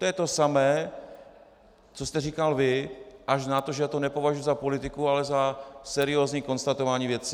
To je to samé, co jste říkal vy, až na to, že já to nepovažuji za politiku, ale za seriózní konstatování věci.